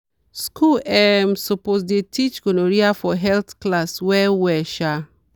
schools um suppose dey teach gonorrhea for health class well well. um